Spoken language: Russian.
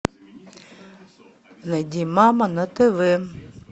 найди мама на тв